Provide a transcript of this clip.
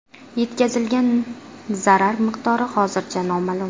Yetkazilgan zarar miqdori hozircha noma’lum.